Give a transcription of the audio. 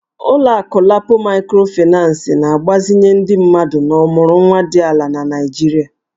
Ụlọ akụ LAPO Maịkrofịnancị na-agbazinye ndị mmadụ na ọmụrụnwa dị ala na Nigeria